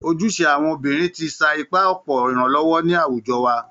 Ojúṣe àwọn obìnrin ti sa ipá ọ̀pọ̀ ìrànlọ́wọ́ ní àwùjọ wa